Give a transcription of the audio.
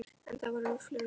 En það voru vöflur á Jóni